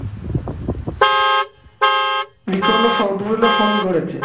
যে কোন সবগুলো ফোন করেছে